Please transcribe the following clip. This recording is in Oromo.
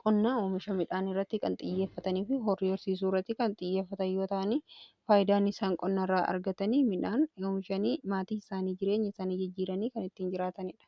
qonnaa oomisha midhaan irratti kan xiyyeeffatanii fi horii horsiisuu irratti kan xiyyeeffatan yoo ta'anii faayidaan isaan qonnaa irraa argatanii midhaan maatii isaanii jireenya isaanii jijjiiranii kan ittiin jiraataniidha.